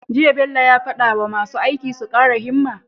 Jiya Bello ya fada wa masu aiki su kara himma